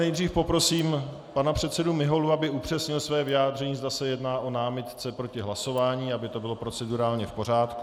Nejdříve poprosím pana předsedu Miholu, aby upřesnil své vyjádření, zda se jedná o námitku proti hlasování, aby to bylo procedurálně v pořádku.